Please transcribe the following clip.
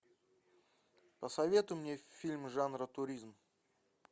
посоветуй мне фильм жанра туризм